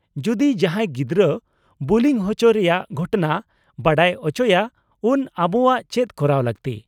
-ᱡᱚᱫᱤ ᱡᱟᱦᱟᱸᱭ ᱜᱤᱫᱽᱨᱟᱹ ᱵᱩᱞᱤ ᱦᱚᱪᱚᱜ ᱨᱮᱭᱟᱜ ᱜᱷᱚᱴᱚᱱᱟ ᱵᱟᱰᱟᱭ ᱚᱪᱚᱭᱟ ᱩᱱ ᱟᱵᱚᱣᱟᱜ ᱪᱮᱫ ᱠᱚᱨᱟᱣ ᱞᱟᱹᱠᱛᱤ ?